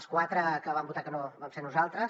els quatre que vam votar que no vam ser nosaltres